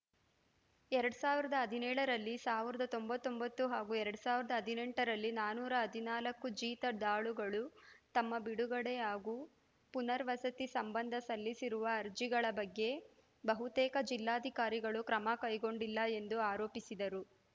ಎರಡ್ ಸಾವಿರದ ಹದಿನೇಳರಲ್ಲಿ ಸಾವಿರದ ತೊಂಬತ್ತ್ ಒಂಬತ್ತು ಹಾಗೂ ಎರಡ್ ಸಾವಿರದ ಹದಿನೆಂಟರಲ್ಲಿ ನಾನೂರ ಹದಿನಾಲ್ಕು ಜೀತದಾಳುಗಳು ತಮ್ಮ ಬಿಡುಗಡೆ ಹಾಗೂ ಪುನವರ್ಸತಿ ಸಂಬಂಧ ಸಲ್ಲಿಸಿರುವ ಅರ್ಜಿಗಳ ಬಗ್ಗೆ ಬಹುತೇಕ ಜಿಲ್ಲಾಧಿಕಾರಿಗಳು ಕ್ರಮ ಕೈಗೊಂಡಿಲ್ಲ ಎಂದು ಆರೋಪಿಸಿದರು